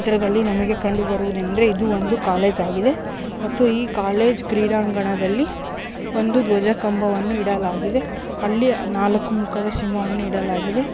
ಈ ಚಿತ್ರದಲ್ಲಿ ನಮಗೆ ಕಂಡು ಬರುವುದೇನೆಂದರೆ ಇದು ಒಂದು ಕಾಲೇಜ್ ಆಗಿದೆ ಮತ್ತು ಈ ಕಾಲೇಜು ಕ್ರೀಡಾಂಗಣದಲ್ಲಿ ಒಂದು ದ್ವಜ ಕಂಬವನ್ನು ಇಡಲಾಗಿದೆ ಅಲ್ಲಿ ನಾಲ್ಕು ಮುಖದ ಸಿಂಹವನ್ನು ಇಡಲಾಗಿದೆ.